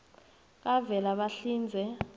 kavelabahlinze